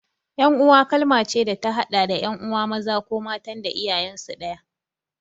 Ƴan'uwa kalma ce da ta haɗa da ƴan'uwa maza ko matan da iyayensu ɗaya.